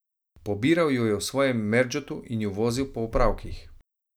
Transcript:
Pobiral ju je v svojem merdžotu in ju vozil po opravkih.